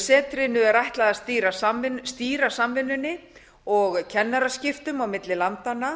setrinu er ætlað að stýra samvinnunni og kennaraskiptum á milli landanna